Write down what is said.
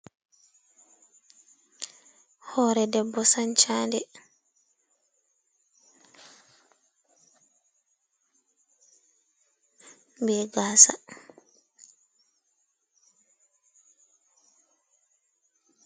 Hore ɗebbo sancande be gasa.